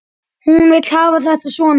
Hún vill hafa þetta svona.